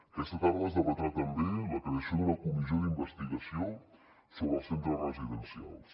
aquesta tarda es debatrà també la creació d’una comissió d’investigació sobre els centres residencials